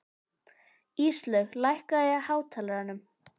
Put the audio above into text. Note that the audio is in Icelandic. Íslaug, lækkaðu í hátalaranum.